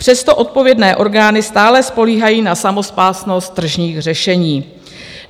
Přesto odpovědné orgány stále spoléhají na samospásnost tržních řešení.